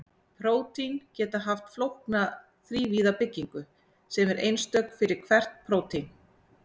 Prótín geta haft flókna þrívíða byggingu sem er einstök fyrir hvert prótín.